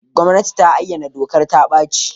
Gwamnati ta ayyana dokar ta-ɓaci.